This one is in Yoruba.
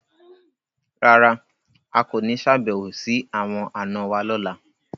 Rárà, a ko ni ṣabẹwo si awọn ana wa lọla